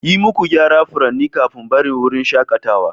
Yi muku gyara furanni kafin barin wurin shakatawa